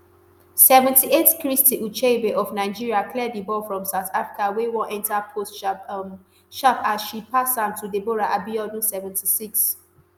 seventy-eight christy ucheibe of nigeria clear di ball from south africa wey wan enta post sharp um sharp as she pass am to deborah abiodunseventy-six